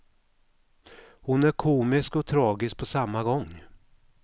Hon är komisk och tragisk på samma gång.